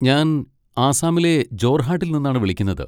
ഞാൻ ആസാമിലെ ജോർഹാട്ടിൽ നിന്നാണ് വിളിക്കുന്നത്.